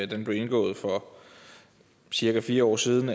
den blev indgået for cirka fire år siden